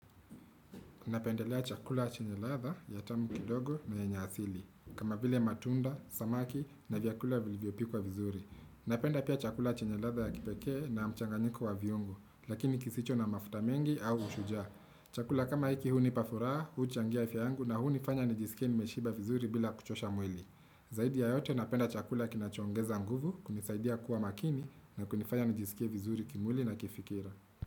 Napendelea chakula chenye ladha ya tamu kidogo na yenye asili. Kama vile matunda, samaki na vyakula vilivyopakwa vizuri. Napenda pia chakula chenye ladha ya kipeke na mchanganyiko wa viongo. Lakini kisicho na mafuta mengi au ushujua. Chakula kama hiki hunipa furaha, huchangia afya yangu na hunifanya nijisikia nimeshiba vizuri bila kuchosha mwili. Zaidi ya yote napenda chakula kinachongeza nguvu, kunisaidia kuwa makini na kunifanya nijisikia vizuri kimuli na kifikira.